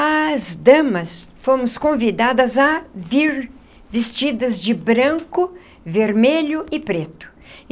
As damas fomos convidadas a vir vestidas de branco, vermelho e preto.